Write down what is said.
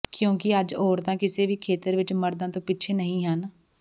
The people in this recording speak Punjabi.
ਕਿਉਕਿ ਅੱਜ ਔਰਤਾਂ ਕਿਸੇ ਵੀ ਖੇਤਰ ਵਿੱਚ ਮਰਦਾਂ ਤੋ ਪਿੱਛੇ ਨਹੀ ਹਨ